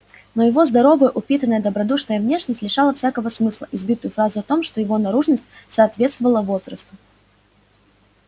но его здоровая упитанная добродушная внешность лишала всякого смысла избитую фразу о том что его наружность соответствовав возрасту